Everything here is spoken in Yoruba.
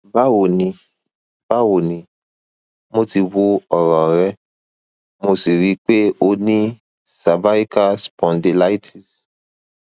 bawo ni bawo ni mo ti wo oran re mo si ro pe o ni cervical spondylitis